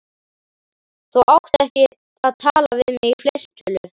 Þú átt ekki að tala við mig í fleirtölu.